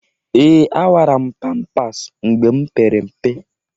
Ee! Awara m pampas mgbe m pere mpe.